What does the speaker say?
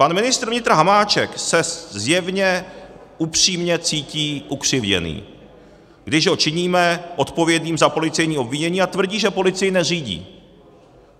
Pan ministr vnitra Hamáček se zjevně upřímně cítí ukřivděný, když ho činíme odpovědným za policejní obvinění, a tvrdí, že policii neřídí.